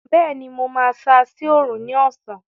Bẹẹni, mo máa ṣáá sí Òòrùn ní ọ̀sán